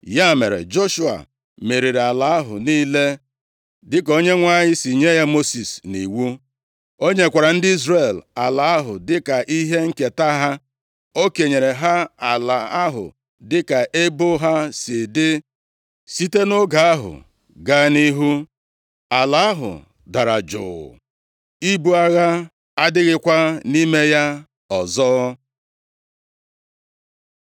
Ya mere, Joshua meriri ala ahụ niile dịka Onyenwe anyị si nye ya Mosis nʼiwu. O nyekwara ndị Izrel ala ahụ dịka ihe nketa ha. O kenyere ha ala ahụ dịka ebo ha si dị. Site nʼoge ahụ gaa nʼihu, ala ahụ dara jụụ. Ibu agha adịghịkwa nʼime ya ọzọ.